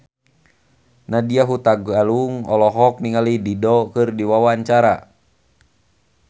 Nadya Hutagalung olohok ningali Dido keur diwawancara